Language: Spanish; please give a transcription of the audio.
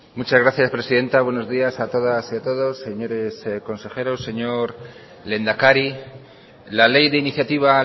muchas gracias presidenta buenos días a todas y a todos señores consejeros señor lehendakari la ley de iniciativa